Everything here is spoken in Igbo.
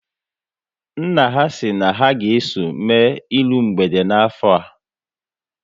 Nna ha si na ha ga eso mme iru mgbede n'afọ a